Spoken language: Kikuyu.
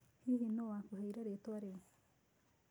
Hihi nũũ wakũheire rĩĩtwa rĩu?